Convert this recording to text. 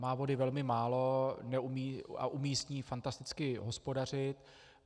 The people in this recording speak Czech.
Má vody velmi málo a umí s ní fantasticky hospodařit.